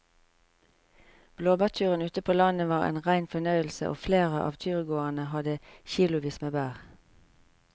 Blåbærturen ute på landet var en rein fornøyelse og flere av turgåerene hadde kilosvis med bær.